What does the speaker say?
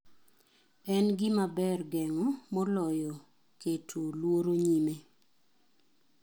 En gima ber gengo moloyo keto luoro nyime.